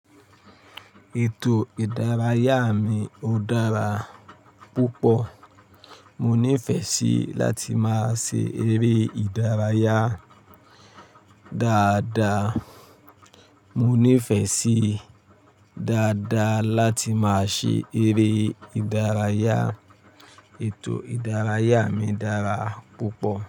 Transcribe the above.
Ètò ìdárayá mi ò dára púpọ̀. Mo nífẹẹ sí láti máa ṣe eré ìdárayá dáadáa. Mo nífẹẹ sí dáadáa láti máa ṣe eré ìdárayá. Ètò ìdárayá mi dára púpọ̀